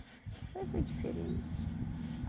Isso aí foi diferente.